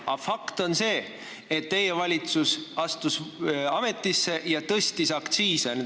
Aga fakt on see, et teie valitsus astus ametisse ja tõstis aktsiise.